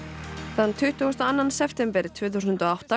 þann tuttugasta og annan september tvö þúsund og átta